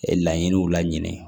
Laɲiniw laɲini